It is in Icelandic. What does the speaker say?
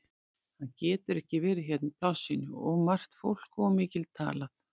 Hann getur ekki verið hérna í plássinu, of margt fólk og of mikið talað.